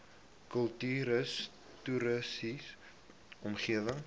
kultuurhis toriese omgewing